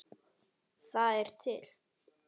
Það er til